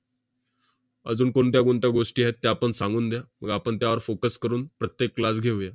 अजून कोणत्या कोणत्या गोष्टी आहेत, त्यापण सांगून द्या. मग आपण त्यावर focus करून प्रत्येक class घेऊया.